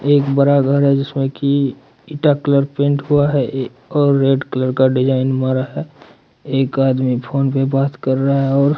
एक बड़ा घर है जिसमें की ईटा कलर पेंट हुआ है और रेड कलर का डिजाइन मारा है एक आदमी फोन पर बात कर रहा है और--